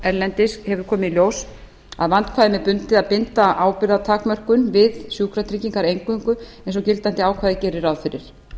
erlendis hefur komið í ljós að vandkvæðum er bundið að binda ábyrgðartakmörkun við sjúkratryggingar eingöngu eins og gildandi ákvæði gerir ráð fyrir þá er rétt